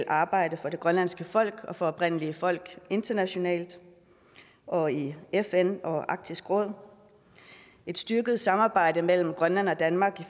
arbejde for det grønlandske folk og for oprindelige folk internationalt og i fn og arktisk råd et styrket samarbejde mellem grønland og danmark